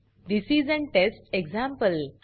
this is an test example